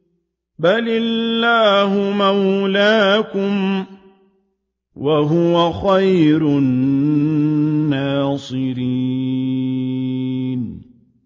بَلِ اللَّهُ مَوْلَاكُمْ ۖ وَهُوَ خَيْرُ النَّاصِرِينَ